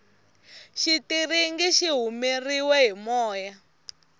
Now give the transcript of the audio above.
xitiringi xi humeriwe hi moya